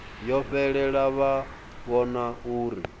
yo fhelela vha vhona uri